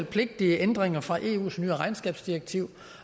pligtige ændringer fra eus nye regnskabsdirektiv